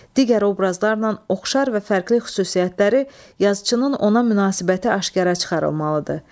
Digər obrazlarla oxşar və fərqli xüsusiyyətləri, yazıçının ona münasibəti aşkara çıxarılmalıdır.